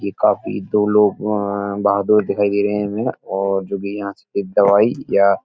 ये काफी दो लोग वहाँ बहादुर दिखाई दे रहे है हमे और जो भी यहाँ से कोई दवाई या --